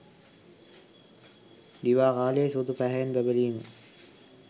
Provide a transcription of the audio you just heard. දිවා කාලයේ සුදු පැහැයෙන් බැබලීම